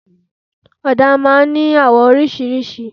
Ọ̀dà máa n ní àwọ̀ orísirísi